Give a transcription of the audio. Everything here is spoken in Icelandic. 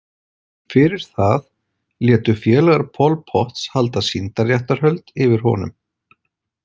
Fyrir það létu félagar Pol Pots halda sýndarréttarhöld yfir honum.